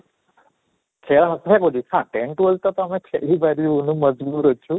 ହଁ tenth twelfth ଆମେ ଖେଳି ପାରିବୁନୁ ଅଛୁ